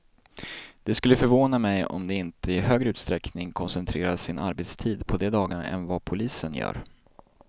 Det skulle förvåna mig om de inte i högre utsträckning koncentrerar sin arbetstid på de dagarna än vad polisen gör.